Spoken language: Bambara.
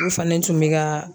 fana tun bɛ ka